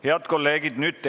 Head kolleegid!